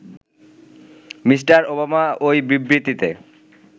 mister Obama ওই বিবৃতিতে